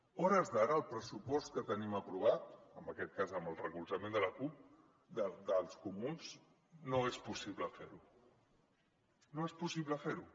a hores d’ara amb el pressupost que tenim aprovat en aquest cas amb el recolza·ment dels comuns no és possible fer·ho no és possible fer·ho